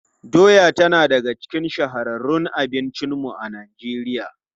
Doya tana daga cikin shahararrun abincinmu a Najeriya.